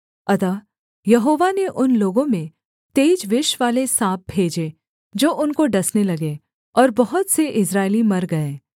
अतः यहोवा ने उन लोगों में तेज विषवाले साँप भेजे जो उनको डसने लगे और बहुत से इस्राएली मर गए